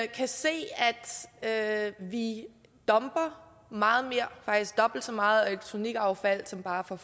kan se at vi dumper meget mere faktisk dobbelt så meget elektronikaffald som bare for